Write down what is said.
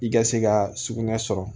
I ka se ka sugunɛ sɔrɔ